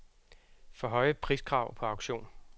For høje priskrav på auktion.